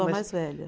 A mais velha.